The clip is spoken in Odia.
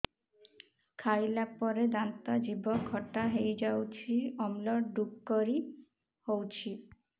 ଖାଇଲା ପରେ ଦାନ୍ତ ଜିଭ ଖଟା ହେଇଯାଉଛି ଅମ୍ଳ ଡ଼ୁକରି ହଉଛି